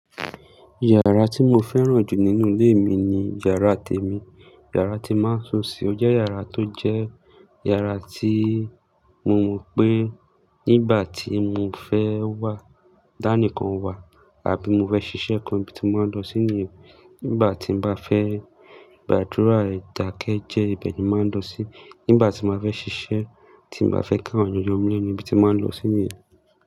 Yàrá tí mo fẹ́ràn jù nínú ilé mi ni yàrá tèmi, yàrá tí máa ń sùn sí. Ó jẹ́ yàrá tó jẹ́ yàrá tí mo mọ̀ pé nígbà tí mo fẹ́ wà, dání kan wà àbí mo fẹ́ ṣiṣẹ́ kan, ibi tí mó máa ń lọ sí ní. Nígbà tí n bá fẹ́, ìgbàdúrà, ìdákẹ́jẹ́, ibẹ̀ ni mó máa ń lọ sí. Nígbà tí mó fẹ́ ṣiṣẹ́, tí n bá fẹ́ káwọn ènìyàn múlẹ̀, níbi tí mó máa ń lọ sí ní.